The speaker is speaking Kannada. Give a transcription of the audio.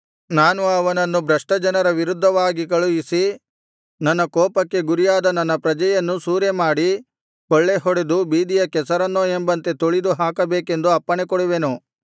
ನಾನು ಅವನನ್ನು ಭ್ರಷ್ಟಜನರ ವಿರುದ್ಧವಾಗಿ ಕಳುಹಿಸಿ ನನ್ನ ಕೋಪಕ್ಕೆ ಗುರಿಯಾದ ನನ್ನ ಪ್ರಜೆಯನ್ನು ಸೂರೆಮಾಡಿ ಕೊಳ್ಳೆ ಹೊಡೆದು ಬೀದಿಯ ಕೆಸರನ್ನೋ ಎಂಬಂತೆ ತುಳಿದು ಹಾಕಬೇಕೆಂದು ಅಪ್ಪಣೆ ಕೊಡುವೆನು